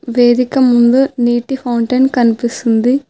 వేదిక ముందు నీటి ఫౌంటెన్ కనిపిస్తుంది.